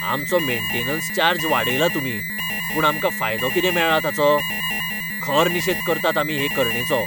आमचो maintenance charge वाडयला तुमी, पूण आमकां फायदो कितें मेळ्ळा ताचो? खर निशेद करतात आमी हे करणेचो!